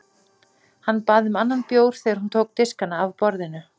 Hann bað um annan bjór þegar hún tók diskana af borðinu.